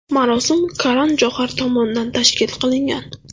Marosim Karan Johar tomonidan tashkil qilingan.